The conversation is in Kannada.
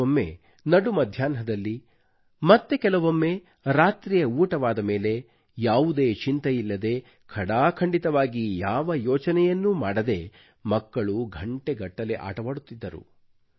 ಕೆಲವೊಮ್ಮೆ ನಡು ಮಧ್ಯಾನ್ಹದಲ್ಲಿ ಮತ್ತೆ ಕೆಲವೊಮ್ಮೆ ರಾತ್ರಿಯ ಊಟವಾದ ಮೇಲೆ ಯಾವುದೇ ಚಿಂತೆಯಿಲ್ಲದೆ ಖಡಾಖಂಡಿತವಾಗಿ ಯಾವ ಯೋಚನೆಯನ್ನೂ ಮಾಡದೆ ಮಕ್ಕಳು ಘಂಟೆಗಟ್ಟಲೆ ಆಟವಾಡುತ್ತಿದ್ದರು